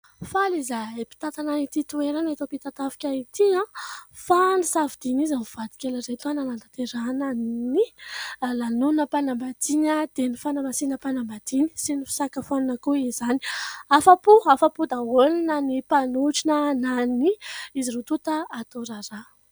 Faly izahay mpitantana ity toerana eto Ampitatafika ity fa nosafidin'izy mivady kely ireto anatanterahanan'ny lanonam-panambadiana dia ny fanamasinam-panambadiany sy ny fisakafoanana koa izany; afa-po, afa-po daholo na ny mpanotrona na ny izy roa tonta atao raharaha.